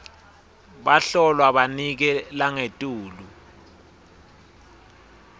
bahlolwa banike langetulu